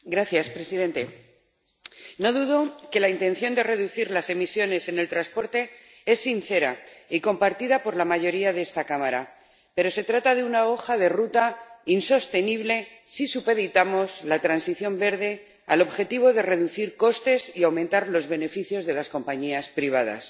Señor presidente, no dudo de que la intención de reducir las emisiones en el transporte es sincera y compartida por la mayoría de esta Cámara, pero se trata de una hoja de ruta insostenible si supeditamos la transición verde al objetivo de reducir costes y aumentar los beneficios de las compañías privadas.